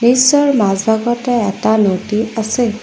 দৃশ্যৰ মাজভাগতে এটা নদী আছে।